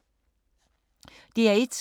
DR1